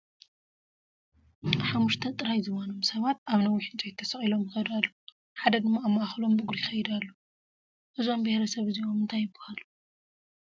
ሓሙሽተ ጥራይ ዝባኖም ሰባት ኣብ ነዊሕ ዕንጨይቲ ተሰቒሎም ይኸዱ ኣለው፡፡ ሓደ ድማ ኣብ ማእኸሎም ብእግሩ ይኸይድ ኣሎ፡፡ እዞም ቢሄረ ሰብ እዚኦም እንታይ ይባሃሉ?